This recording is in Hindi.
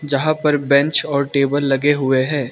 यहां पर बेंच और टेबल लगे हुए हैं।